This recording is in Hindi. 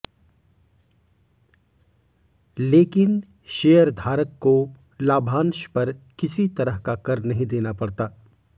लेकिन शेयरधारक को लाभांश पर किसी तरह का कर नहीं देना पड़ता